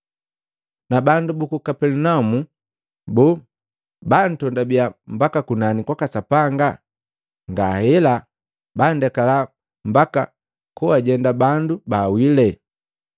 Na mwabandu buku Kapelinaumu! Boo bantondabiya mbaka kunani kwaka Sapanga? Ngahela! Bandekala mbaka koajenda bandu baawile!”